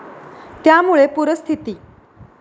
त्यामुळे पूरस्थिती.